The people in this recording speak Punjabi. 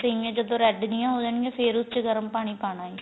ਸੇਮੀਆਂ ਜਦੋ red ਜੀਆਂ ਹੋ ਜਾਣ ਗਿਆਂ ਫੇਰ ਉਸ ਚ ਗਰਮ ਪਾਣੀ ਪਾਣਾ